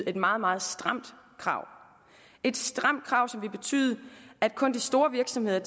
et meget meget stramt krav et stramt krav som ville betyde at kun de store virksomheder